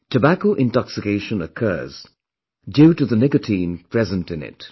Tobacco intoxication occurs due to the nicotine present in it